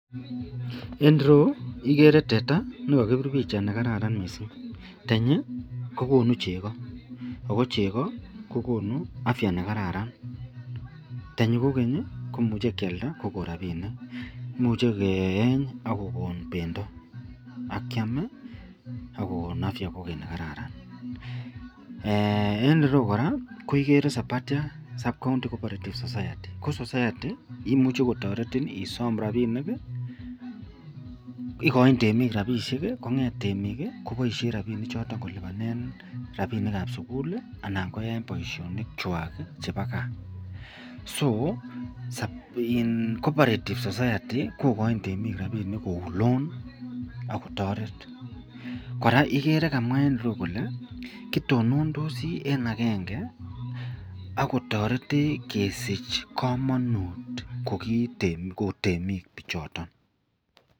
En ireyu koigere teta nekakibir bichait nekararan mising tenyi kokonu cheko ako cheko kokonu afya nekararan tenyi kogeny komuche keyalda akokon rabinik imuche keyenye akokon bendo akiam akokon afya nekararan en ireyu koraa koigere Sabathia Sacco county cooperative society ko society imuche kotaretin isome rabinik igoin temik rabinik konget temik kebaishen rabinik chotet kolubanen rabinik ab sugul anan koyaen Baishonik chwak chebo gaa ako cooperative society kogain temik rabinik Kou loan akotaret kora kokamwa Kole kitonondisi en agenge akotaretech kesich kamanut kobtemik bichoton.